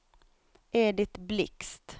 Edit Blixt